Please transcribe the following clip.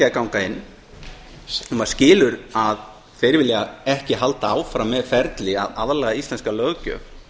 að ganga inn maður skilur að þeir vilja ekki halda áfram með ferli að aðlaga íslenska löggjöf